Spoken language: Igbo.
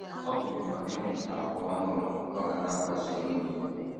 Ọ gụnyekwara ịmụta àgwà ọhụrụ ọ ga na - akpaso nwunye ya.